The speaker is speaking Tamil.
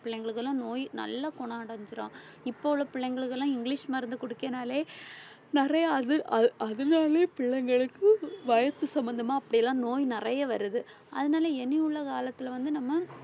பிள்ளைகளுக்கெல்லாம் நோய் நல்ல குணம் அடைஞ்சிரும். இப்ப உள்ள பிள்ளைங்களுக்கெல்லாம் இங்கிலிஷ் மருந்து குடுக்கனாலே நிறையா அது அது அதனாலேயே பிள்ளைங்களுக்கு வயசு சம்பந்தமா அப்படியெல்லாம் நோய் நிறைய வருது. அதனாலே இனி உள்ள காலத்திலே வந்து நம்ம